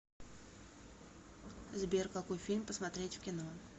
сбер какой фильм посмотреть в кино